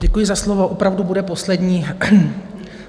Děkuji za slovo, opravdu bude poslední.